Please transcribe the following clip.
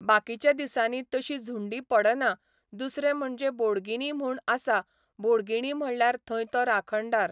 बाकीच्या दिसांनी तशी झुंडी पडना दुसरें म्हणजे बोडगिणी म्हूण आसा, बोडगिणी म्हणल्यार थंय तो राखणदार.